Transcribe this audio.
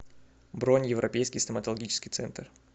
бронь европейский стоматологический центр